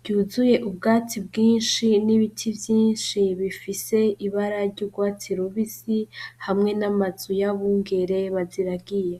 ryuzuye ubwatsi bwinshi n'ibiti vyinshi bifise ibara ry'urwatsi rubisi, hamwe n'amazu y'abungere baziragiye.